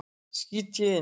skýt ég inn.